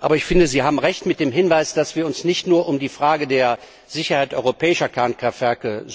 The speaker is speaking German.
Aber ich finde, Sie haben Recht mit dem Hinweis, dass wir uns nicht nur sorgfältig um die Frage der Sicherheit europäischer Kernkraftwerke